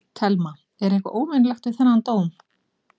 Telma: Er eitthvað óvenjulegt við þennan dóm?